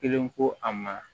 Kelen ko a ma